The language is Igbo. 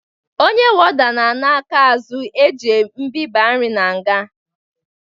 Onye woda na ana aka azụ eji miba nri n'nga